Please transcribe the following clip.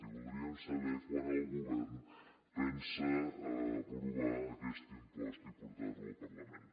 i voldríem saber quan el govern pensa aprovar aquest impost i portar lo al parlament